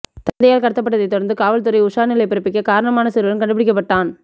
தந்தையால் கடத்தப்பட்டதை தொடர்ந்து காவல்துறை உஷார் நிலை பிறப்பிக்க காரணமான சிறுவன் கண்டுபிடிக்கப்பட்டான்